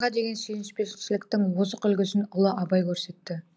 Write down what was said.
отанға деген сүйіспеншіліктің озық үлгісін ұлы абай көрсетті